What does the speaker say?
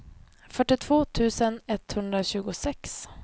fyrtiotvå tusen etthundratjugosex